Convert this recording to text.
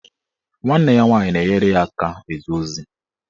Nwanne ya nwaanyị na-enyere ya aka eje ozi.